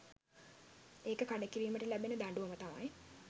ඒක කඩ කිරීමට ලැබෙන දඬුවම තමයි